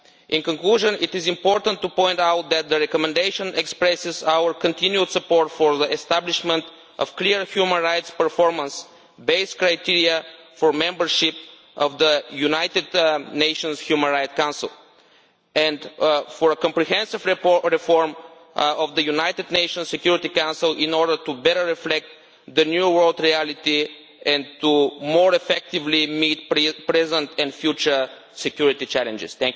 In conclusion, it is important to point out that the recommendation expresses our continued support for the establishment of clear human rights performance based criteria for membership of the United Nations Human Rights Council, and for a comprehensive reform of the United Nations Security Council in order to better reflect the new global reality and to more effectively meet present and future security challenges.